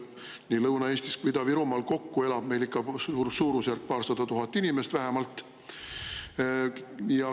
Nii Lõuna-Eestis kui Ida-Virumaal kokku elab meil ikka suurusjärgus paarsada tuhat inimest vähemalt.